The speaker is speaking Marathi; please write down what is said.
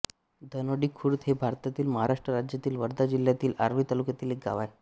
धानोडीखुर्द हे भारतातील महाराष्ट्र राज्यातील वर्धा जिल्ह्यातील आर्वी तालुक्यातील एक गाव आहे